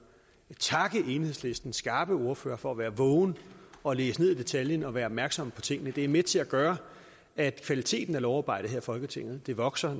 takke enhedslistens skarpe ordfører for at være vågen og læse ned i detaljen og være opmærksom på tingene det er med til at gøre at kvaliteten af lovarbejdet her i folketinget vokser